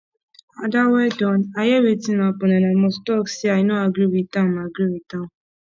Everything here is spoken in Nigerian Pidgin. ada well don i hear wetin happen and i must talk say i no agree with am agree with am